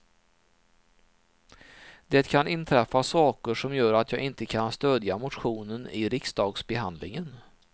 Det kan inträffa saker som gör att jag inte kan stödja motionen i riksdagsbehandlingen.